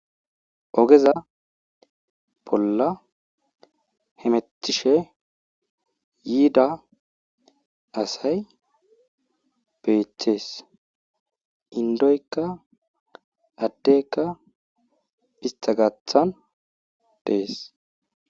Ogeza billa hemettishe yiida asay beettees inddoykka addeykka istta gaathan de7ees.